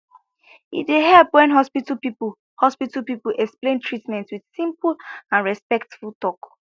e dey help when hospital people hospital people explain treatment with simple and respectful talk